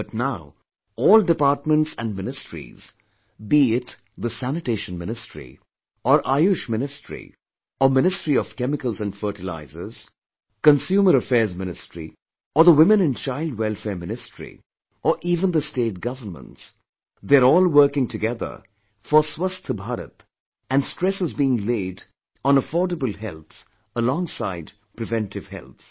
But now, all departments and ministries be it the Sanitation Ministry or Ayush Ministry or Ministry of Chemicals & Fertilizers, Consumer Affairs Ministry or the Women & Child Welfare Ministry or even the State Governments they are all working together for Swasth Bharat and stress is being laid on affordable health alongside preventive health